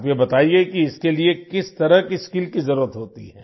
आप ये बताइए कि इसके लिए किस तरह की स्किल्स की जरुरत होती है